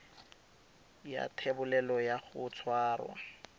ya thebolelo ya go tshwara